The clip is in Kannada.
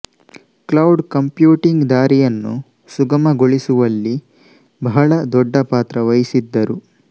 ಕ್ಲೌಡ್ ಕಂಪ್ಯೂಟಿಂಗ್ ದಾರಿಯನ್ನು ಸುಗಮಗೊಳಿಸುವಲ್ಲಿ ಬಹಳ ದೊಡ್ಡ ಪಾತ್ರ ವಹಿಸಿದ್ದರು